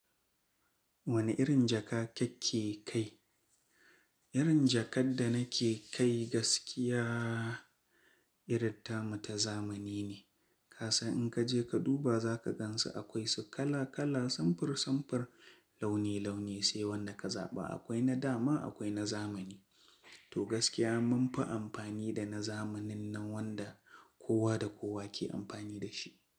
Wane irin jaka kake kai? Irin jakar da nake kai gaskiya iratta muta zamani ne. Kasan in ka je ka duba za ka gansu akwai su kala kala, samfur samfur, launi launi. Sai wanda ka zaɓa. Akwai na dama akwai na zamani. To gaskiya mun fi amfani da na zamanin nan wanda kowa da kowa ke amfani da shi.